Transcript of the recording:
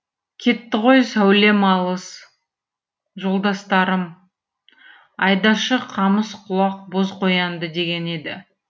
кетті ғой сәулем алыс жолдастарым айдашы қамыс құлақ боз қоянды деген еді